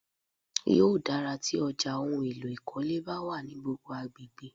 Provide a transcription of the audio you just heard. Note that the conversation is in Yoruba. Yóò dáa tí ọjà ohun èlò ìkọ́lé bá wà ní gbogbo agbègbè.